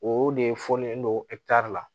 O de fɔlen don la